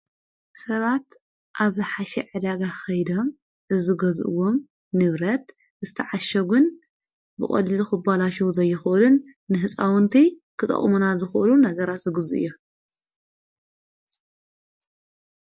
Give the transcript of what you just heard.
ሰባት ኣብ ዝሓሽ ዕዳጋ ኸይደ እዝጐዝእዎም ንብረት እዝተዓሸጕን ብቖሊሉኹ ባላሸዉ ዘይኾልን ንሕፃውንቲይ ኽጠቕሙና ዝኾሉ ነገራ ዝግዙ እዩ።